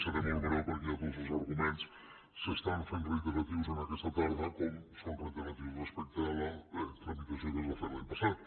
seré molt breu perquè ja tots els arguments s’estan fent reiteratius aquesta tarda com són reiteratius respecte a la tramitació que es va fer l’any passat